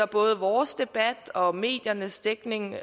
både vores debat og mediernes dækning